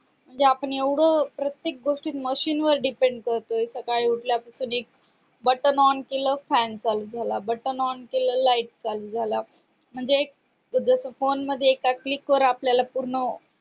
म्हणजे आपण एवढं प्रत्येक गोष्टीत machine वर depend करतोय सकाळी उठल्यापासून एक button on केलं fan चालू झाला on केलं light चालू झाला म्हणजे एक जस फोनमध्ये एका click वर आपल्याला पूर्ण